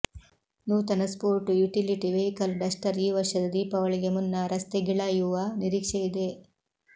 ನೂತನ sport utility vehicle Duster ಈ ವರ್ಷದ ದೀಪಾವಳಿಗೆ ಮುನ್ನ ರಸ್ತೆಗಿಳಯುವ ನಿರೀಕ್ಷೆಯಿದೆ